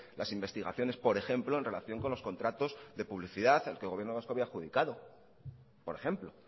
las investigaciones por ejemplo en relación con los contratos de publicidad que el gobierno vasco había adjudicado por ejemplo